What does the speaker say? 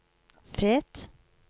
Fet